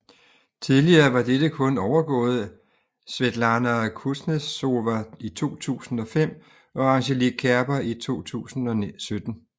Tidligere var dette kun overgået Svetlana Kuznetsova i 2005 og Angelique Kerber i 2017